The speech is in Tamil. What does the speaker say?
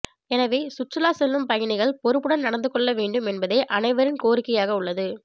எனவே சுற்றுலா செல்லும் பயணிகள் பொறுப்புடன் நடந்து கொள்ளவேண்டும் என்பதே அனைவரின் கோரிக்கையாக உள்ளது